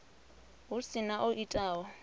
hu si na o itaho